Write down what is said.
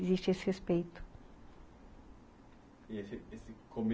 Existe esse respeito. E esse esse